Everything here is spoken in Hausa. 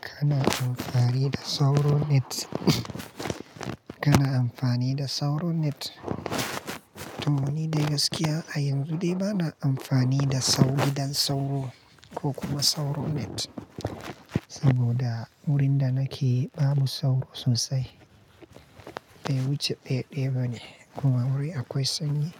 Kana amfani da sauro net? Kana amfani da sauro net? To, ni dai gaskiya a yanzu dai bana amfani da sauro gidan sauro ko kuma sauro net, saboda wurin da nake babu sauro sosai. Bai wuce ɗaya-ɗaya bane kuma wuri akwai sanyi.